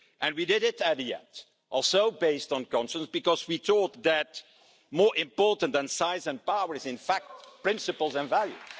We did it in the end, also based on counsel, because we thought that more important than size and power are in fact principles and values.